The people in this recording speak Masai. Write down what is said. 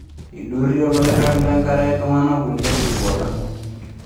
Eidurie olorag lenkare iltung'ana kulie sikuota.